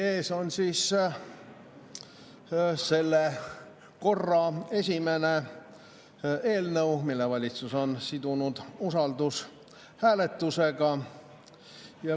Meie ees on seekordne esimene eelnõu, mille valitsus on sidunud usaldushääletusega.